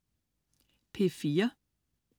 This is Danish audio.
P4: